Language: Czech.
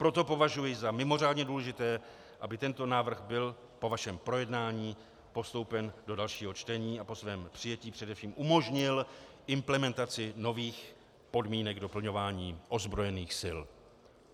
Proto považuji za mimořádně důležité, aby tento návrh byl po vašem projednání postoupen do dalšího čtení a po svém přijetí především umožnil implementaci nových podmínek doplňování ozbrojených sil.